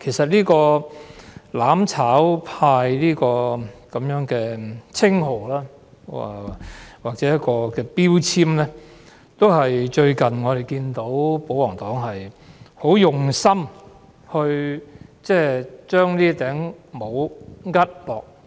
其實，"攬炒派"這個稱號或標籤，是保皇黨近日非常刻意地往